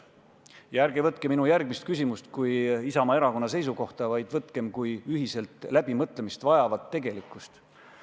Ja ärge võtke minu järgmist küsimust kui Isamaa Erakonna seisukohta, vaid võtkem kui ühiselt läbimõtlemist vajavat tegelikkust.